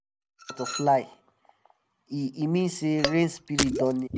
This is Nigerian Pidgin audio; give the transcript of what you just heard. butterfly — um e um e mean say rain spirit don near.